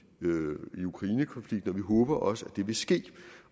ukrainekonflikten vi håber også at det vil ske